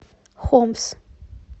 хомс